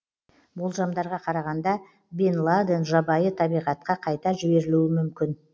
болжамдарға қарағанда бен ладен жабайы табиғатқа қайта жіберілуі мүмкін